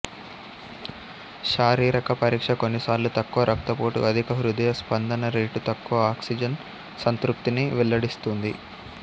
శారీరక పరీక్ష కొన్నిసార్లు తక్కువ రక్తపోటు అధిక హృదయ స్పందన రేటు తక్కువ ఆక్సిజన్ సంతృప్తిని వెల్లడిస్తుంది